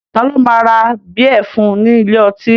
Ta ló máa ra bíẹ̀ fún ní ilé ọtí